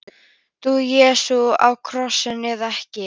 Dó Jesú á krossinum eða ekki?